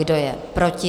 Kdo je proti?